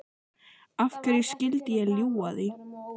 Af hverju skyldi ég ljúga því?